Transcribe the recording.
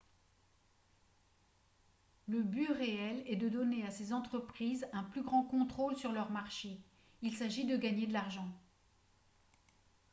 le but réel est de donner à ces entreprises un plus grand contrôle sur leurs marchés ; il s’agit de gagner de l’argent